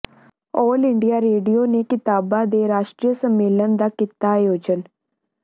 ਆਲ India radio ਨੇ ਕਵਿਤਾਵਾਂ ਦੇ ਰਾਸ਼ਟਰੀ ਸੰਮੇਲਨ ਦਾ ਕੀਤਾ ਆਯੋਜਨ